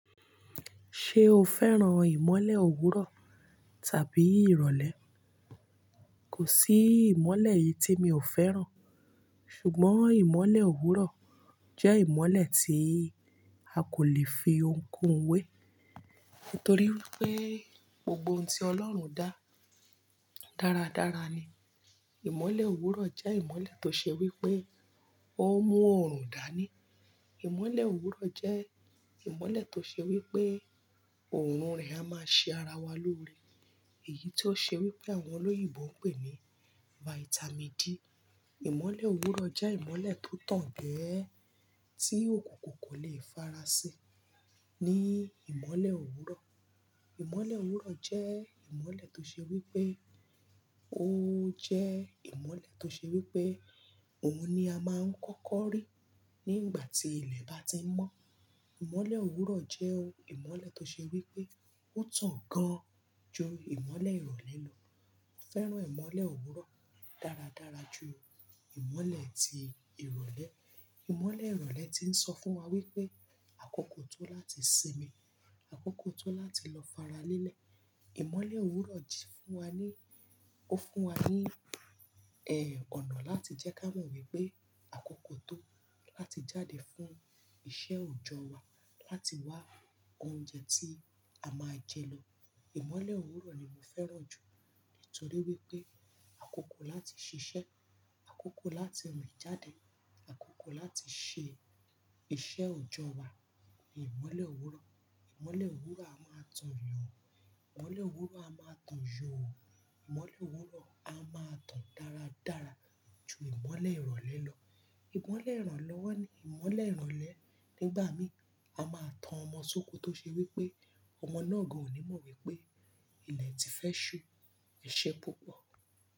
Ṣé o fẹ́ràn ìmọ́lẹ̀ òwúrọ̀ tàbí ìrọ̀lẹ́? Kò sí ìmọ́lẹ̀ eyi tí mi ò fẹ́ràn, ṣùgbọ́n ìmọ́lẹ̀ òwúrọ̀ jẹ́ ìmọ́lẹ̀ tí a kò lè fi oun koun wé, nítorí wipé gbogbo ohun tí Ọlọ́run dá, dáradára ni. Ìmọ́lẹ̀ òwúrọ̀ jẹ́ ìmọ́lẹ̀ tó ṣe wí pé ó mú orùn dá ní. Ìmọ́lẹ̀ òwúrọ̀ jẹ́ ìmọ́lẹ̀ tó ṣe wí pé òrùn rẹ̀ a máa ṣe ara wa lóore. Èyí ti ó ṣe wí pé àwọn olóyìnbó ń pè ní Vitamin D. Ìmọ́lẹ̀ òwúrọ̀ jẹ́ ìmọ́lẹ̀ tó tàn gẹ́ẹ́, tí òkùnkùn kò leè farasin ní ìmọ́lẹ̀ òwúrọ̀. Ìmọ́lẹ̀ òwúrọ̀ jẹ́ ìmọ́lẹ̀ tó ṣe wí pé ó jẹ́ ìmọ́lẹ̀ tó ṣe wí pé òun ni a máa ń kọ́kọ́ rí ní igbà tí ilẹ̀ bá ti n mọ́. Ìmọ́lẹ̀ òwúrọ̀ jẹ́ ìmọ́lẹ̀ tó ṣe wí pé ó tàn gan-an jú ìmọ́lẹ̀ ìrọ̀lẹ́ lọ. Mo fẹ́ràn ìmọ́lẹ̀ òwúrọ̀ dáradára ju ìmọ́lẹ̀ tí ìrọ̀lẹ́. Ìmọ́lẹ̀ ìrọ̀lẹ́ ti ń sọ fún wa wípé àkókò tó láti sinmi, àkókò tó láti lọ fara lélẹ̀. Ìmọ́lẹ̀ òwúrọ̀ ji fún wa ní, ó fún wa ní, ẹ́, ọ̀nà láti jẹ́ ká mọ̀ wípé àkókò tó láti jáde fún iṣẹ́ òjọ́ wa, láti wá oúnjẹ tí a máa jẹ lọ. Ìmọ́lẹ̀ òwúrọ̀ ni mo fẹ́ràn jù nítorí wípé àkókò láti ṣiṣẹ́, àkókò láti rìn jáde, àkókò láti ṣe iṣẹ́ òjọ́ wa ni ìmọ́lẹ̀ òwúrọ̀. Ìmọ́lẹ̀ òwúrọ̀ a máa tàn yàn, ìmọ́lẹ̀ òwúrọ̀ a máa tàn yò, ìmọ́lẹ̀ òwúrọ̀ a máa tàn dáradára ju ìmọ́lẹ̀ ìrọ̀lẹ́ lọ. Ìmọ́lẹ̀ ìrànlọ́wọ́ ni ìmọ́lẹ̀ ìrọ̀lẹ́ nígbà mí, a máa tàn ọmọ sóko tó ṣe wí pé ọmọ náà gan ò ní mọ̀ wípé ilẹ̀ ti fẹ́ ṣú. Ẹ̀ṣẹ́ púpọ̀.